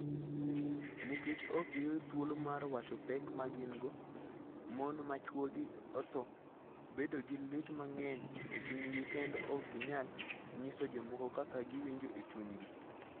Nikech ok giyud thuolo mar wacho pek ma gin - go, mon ma chwogi otho bedo gi lit mang'eny e chunygi kendo ok ginyal nyiso jomoko kaka giwinjo e chunygi.